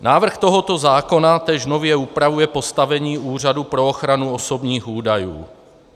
Návrh tohoto zákona též nově upravuje postavení Úřadu pro ochranu osobních údajů.